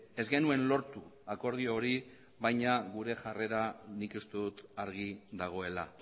ez genuen lortu akordio hori baina gure jarrera nik uste dut argi dagoela